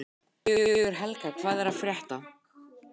Sigurhelga, hvað er að frétta?